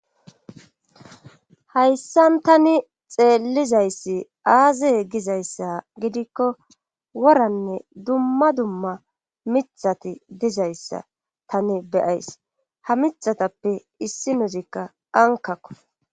Hayssan tani xeellizayssi aaze gizayssa gidikko woranne dumma dumma mithati dizayssa tani beyays ha mithatappe issi nuzikka ankakko.